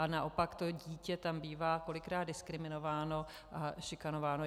A naopak to dítě tam bývá kolikrát diskriminováno a šikanováno.